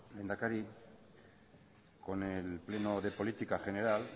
lehendakari con el pleno de política general